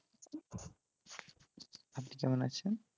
আপনি কেমন আছেন?